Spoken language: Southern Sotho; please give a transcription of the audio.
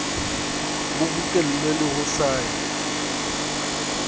bo bokellwe le ho sire